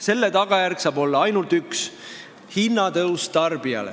Selle tagajärg saab olla ainult üks: hinnatõus tarbijale.